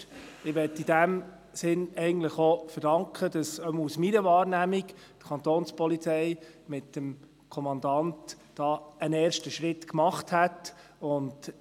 Ich möchte in diesem Sinne auch verdanken, dass die Kapo mit dem Kommandanten hier einen ersten Schritt gemacht hat – jedenfalls in meiner Wahrnehmung.